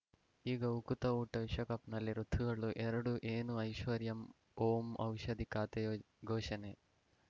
ಈಗ ಉಕುತ ಊಟ ವಿಶ್ವಕಪ್‌ನಲ್ಲಿ ಋತುಗಳು ಎರಡು ಏನು ಐಶ್ವರ್ಯಾ ಓಂ ಔಷಧಿ ಖಾತೆ ಘೋಷಣೆ